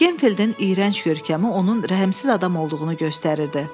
Genfieldin iyrənc görkəmi onun rəhmsiz adam olduğunu göstərirdi.